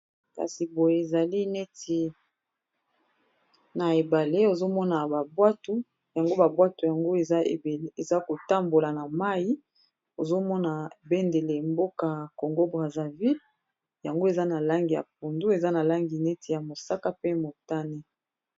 kasi boye ezali neti na ebale ozomona babwato yango babwato yango eza kotambola na mai ozomona ebendele mboka ya congo brasaville yango eza na langi ya pundu eza na langi neti ya mosaka pe motane